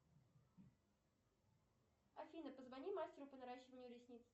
афина позвони мастеру по наращиванию ресниц